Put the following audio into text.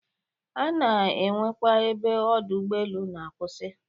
A na-enwekwa ebe Ọdọ ụgbọelu na-akwụsị